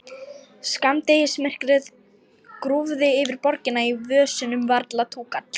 Skammdegismyrkrið grúfði yfir borginni, í vösunum varla túkall.